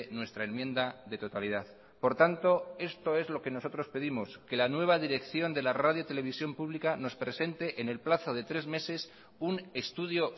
nuestra enmienda de totalidad por tanto esto es lo que nosotros pedimos que la nueva dirección de la radio televisión pública nos presente en el plazo de tres meses un estudio